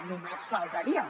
només faltaria